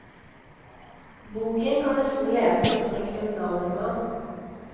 Boken kan nesten leses som en kriminalroman.